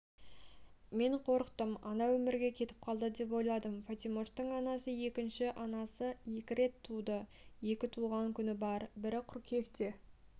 мен қорықтым ана өмірге кетіп қалды деп ойладым фатимоштың анасы екінші анасы екі рет туды екі туған күні бар бірі қыркүйекте